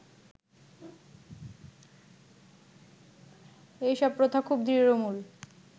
এই সব প্রথা খুব দৃঢ়মূল